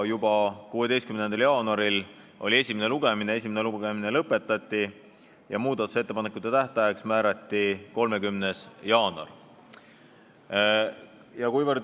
Juba 16. jaanuaril oli esimene lugemine, see lõpetati ja muudatusettepanekute esitamise tähtajaks määrati 30. jaanuar.